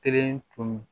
Kelen tun